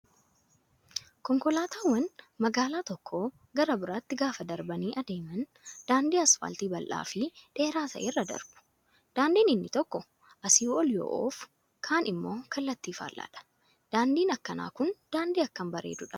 Konkolaataawwan magaalaa tokkoo gara biraatti gaafa darbanii adeeman daandii asfaaltii bal'aa fi dheeraa ta'erra darbu. Daandiin inni tokko asii ol yoo oofu, kaan immoo kallattii faallaadha. Daandiin akkanaa kun daandii akkam bareedudha.